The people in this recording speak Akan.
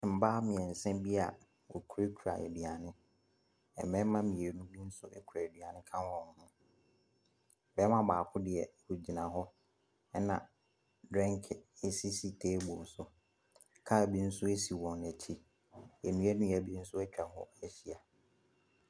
Mmaa mmiɛnsa bi a wokura kura nnuane. Mmarima mmienu bi nso ekura aduane ka wɔn ho. Barima baako deɛ ogyina hɔ. Ɛna dreenk esisi teebol so. Kaa bi nso si wɔn akyi. Nnua nnua bi nso etwa hɔ ahyia.